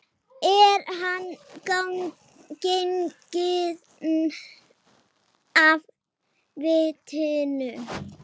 Er hann genginn af vitinu?